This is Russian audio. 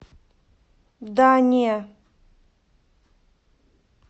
да не